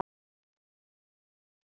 held ég loks áfram.